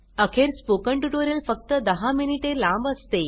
अखेर spoken tutorial फक्त दहा मिनिटे लांब असते